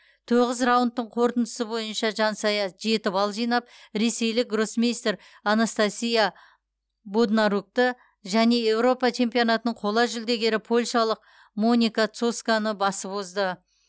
тоғыз раундтың қорытындысы бойынша жансая жеті балл жинап ресейлік гроссмейстер анастасия боднарукті және еуропа чемпионатының қола жүлдегері польшалық моника соцконы басып озды